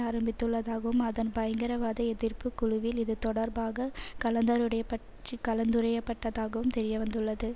ஆரம்பித்துள்ளதாகவும் அதன் பயங்கரவாத எதிர்ப்பு குழுவில் இது தொடர்பாக கலந்தாருடையபட் கலந்துரையாடப்பட்டதாகவும் தெரியவந்துள்ளது